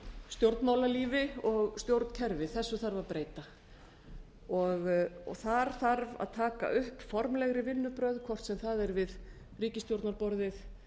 stjórnmálalífi og stjórnkerfi þessu þarf að breyta þar þarf að taka upp formlegri vinnubrögð hvort sem það er við ríkisstjórnarborðið